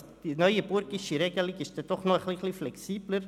Die neuenburgische Regelung ist dann doch noch ein wenig flexibler.